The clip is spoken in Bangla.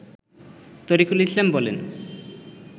তরিকুল ইসলাম বলেন